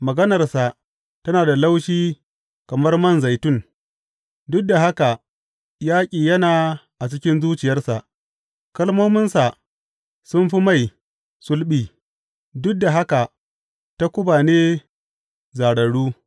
Maganarsa tana da laushi kamar man zaitun, duk da haka yaƙi yana a cikin zuciyarsa; kalmominsa sun fi mai sulɓi, duk da haka takuba ne zārarru.